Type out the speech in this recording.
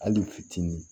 Hali fitinin